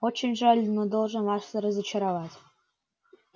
очень жаль но должен вас разочаровать